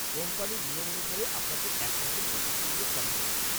কোম্পানির নিয়ম অনুসারে আপনাকে এক মাসের নোটিস পিরিয়ড কাটাতে হবে।